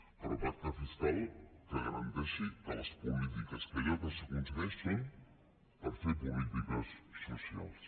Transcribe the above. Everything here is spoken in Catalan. però pacte fiscal que garanteixi que les polítiques i allò que s’aconsegueix són per fer polítiques socials